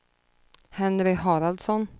Henry Haraldsson